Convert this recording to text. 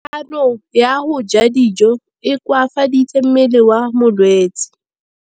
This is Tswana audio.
Kganô ya go ja dijo e koafaditse mmele wa molwetse.